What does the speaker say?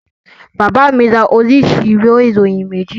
Bàbá mi ra oríṣi ìwé ìròyìn méjì